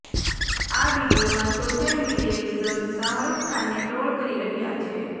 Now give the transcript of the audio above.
આ વીડિયોમાં social media users Shahrukh ખાનને ટ્રોલ કરી રહ્યાં છે